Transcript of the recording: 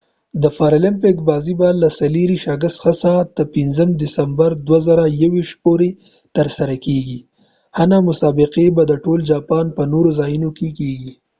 د پارالمپیک بازۍ به له 24 اګست څخه تر 5 ستمبر 2021 پورې ترسره کیږي ځنه مسابقې به د ټول جاپان په نورو ځایونو کې کیږي